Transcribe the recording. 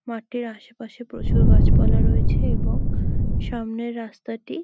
মাঠের আশেপাশে প্রচুর গাছপালা রয়েছে এবং সামনের রাস্তাটি --